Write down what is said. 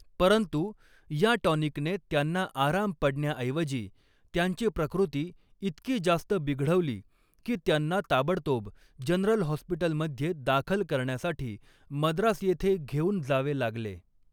परंतु, या टॉनिकने त्यांना आराम पडण्याऐवजी त्यांची प्रकृती इतकी जास्त बिघडवली, की त्यांना ताबडतोब जनरल हॉस्पिटलमध्ये दाखल करण्यासाठी मद्रास येथे घेऊन जावे लागले.